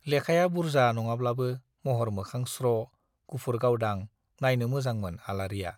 लेखाया बुर्जा नङाब्लाबो महर मोखां स्र', गुफुरै गावदां नाइनो मोजांमोन आलारिया।